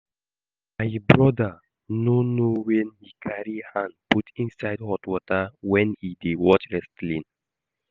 My broda no know wen he carry hand put inside hot water wen he dey watch wrestling